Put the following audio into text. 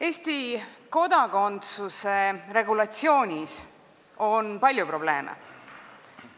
Eesti kodakondsuse regulatsioonis on palju probleeme.